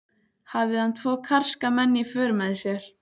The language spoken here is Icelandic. En hann minntist aldrei á að hann hefði pantað konu.